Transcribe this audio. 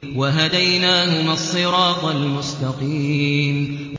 وَهَدَيْنَاهُمَا الصِّرَاطَ الْمُسْتَقِيمَ